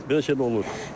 Belə şeylər olur.